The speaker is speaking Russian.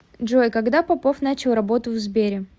джой когда попов начал работу в сбере